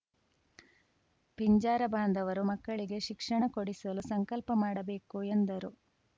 ಪಿಂಜಾರ ಬಾಂಧವರು ಮಕ್ಕಳಿಗೆ ಶಿಕ್ಷಣ ಕೊಡಿಸಲು ಸಂಕಲ್ಪ ಮಾಡಬೇಕು ಎಂದರು